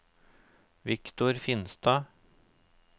Viktor Finstad